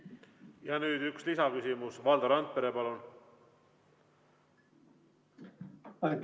Ja nüüd üks lisaküsimus, Valdo Randpere, palun!